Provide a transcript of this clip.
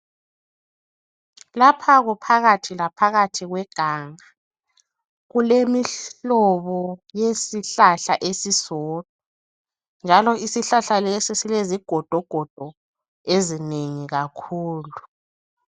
Lapha kuphakathi laphakathi kweganga, kulemihlobo yesihlahla esisodwa. Njalo isihlahla lesi silezigodogodo ezinengi kakhulu.